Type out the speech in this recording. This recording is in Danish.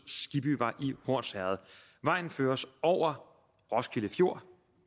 skibbyvej i i hornsherred vejen føres over roskilde fjord